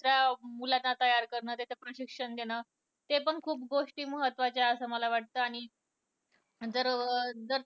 त्या मुलांना तयार करणं त्यांना प्रशिक्षण देणं त्या पण खूप गोष्टी महत्वाच्या असं मला वाटतं आणि जर